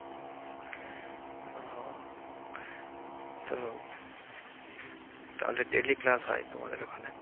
ও তো তাহলে daily হয় তোমাদের ওখানে?